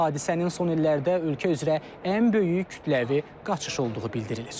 Hadisənin son illərdə ölkə üzrə ən böyük kütləvi qaçış olduğu bildirilir.